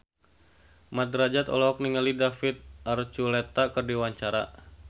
Mat Drajat olohok ningali David Archuletta keur diwawancara